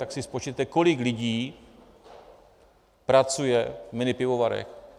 Tak si spočtěte, kolik lidí pracuje v minipivovarech.